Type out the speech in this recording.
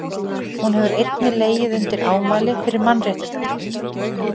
hún hefur einnig legið undir ámæli fyrir mannréttindabrot